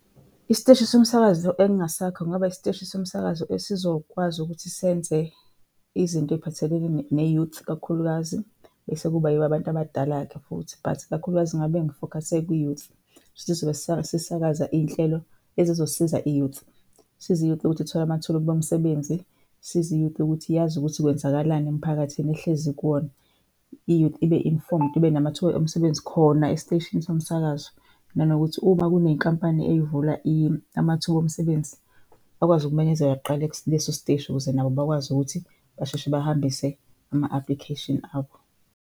Isiteshi somsakazo engingasakha kungaba isiteshi somsakazo esizokwazi ukuthi senze izinto ey'phathelene ne-youth kakhulukazi. Bese kuba yibo abantu abadala-ke futhi, but ikakhulukazi ngabe ngifokhase kwi-youth. Kushuthi sizobe sisakaza iy'nhlelo ezizosiza i-youth. Sisize i-youth ukuthi ithole amathuba omsebenzi, sisize i-youth ukuthi yazi ukuthi kwenzakalani emphakathini ehlezi kuwona. I-youth ibe informed, ibe namathuba omsebenzi khona esiteshini somsakazo. Nanokuthi uma kuney'nkampani ey'vula amathuba omsebenzi, bakwazi ukumenyezelwa kuqala kuleso siteshi ukuze nabo bakwazi ukuthi basheshe bahambise ama-application abo.